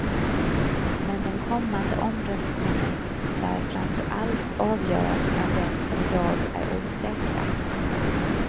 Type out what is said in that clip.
Men den kommande omröstningen lär framför allt avgöras bland dem som i dag är osäkra.